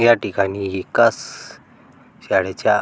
या ठिकाणी एकास शाळेच्या--